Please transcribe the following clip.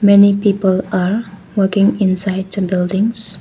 Many people are walking inside the buildings.